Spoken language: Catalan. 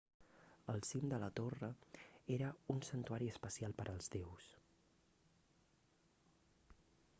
el cim de la torre era un santuari especial per als déus